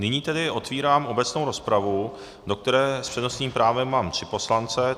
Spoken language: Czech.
Nyní tedy otvírám obecnou rozpravu, do které s přednostním právem mám tři poslance.